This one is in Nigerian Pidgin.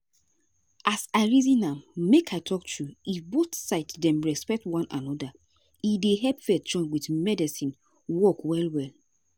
as i reason am make i talk true if both side dem respect one anoda e dey help faith join with medicine work well well.